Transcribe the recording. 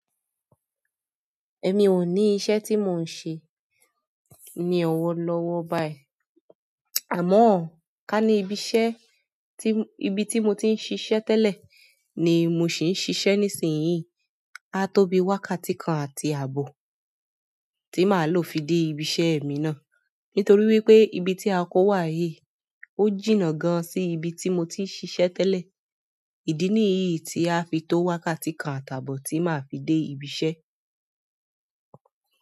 Èmi ò ní iṣẹ́ tí mò ń ṣe ní ọ̀wọ̀ lọ́wọ́ báyìí. Àmọ́ ká ní ibi iṣẹ́, ibi tí mo ti ń ṣiṣẹ́ tẹ́lẹ̀ ni mo sì ń ṣiṣẹ́ nísinyìí, a tó bí wákàtí kan àti ààbò tí màá lò fi dé ibi iṣẹ́ mi náà. Nítorí wípé ibi tí a kó wá yìí ó jìnnà gan sí ibi tí mo ti ń ṣiṣẹ́ tẹ́lẹ̀. Ìdí nìyí tí a fi tó wákàtí kan àti àbò tí màá fi dé ibi iṣẹ́.